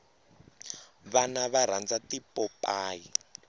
vana va rhandza tipopayi